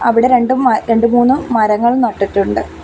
അവിടെ രണ്ടും മ രണ്ടു മൂന്നു മരങ്ങൾ നട്ടിട്ടുണ്ട്.